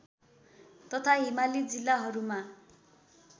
तथा हिमाली जिल्लाहरूमा